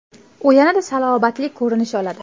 U yanada salobatli ko‘rinish oladi .